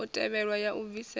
u tevhelwa ya u bvisela